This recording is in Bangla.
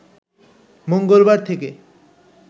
মঙ্গলবার থেকে